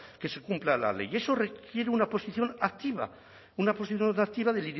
que se cumpla la ley y eso requiere una posición activa una posición activa de